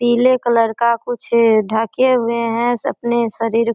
पीले कलर का कुछ ढ़के हुए है अपने शरीर --